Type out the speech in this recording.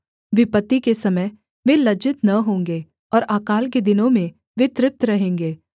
विपत्ति के समय वे लज्जित न होंगे और अकाल के दिनों में वे तृप्त रहेंगे